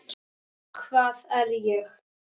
Hvað er ég?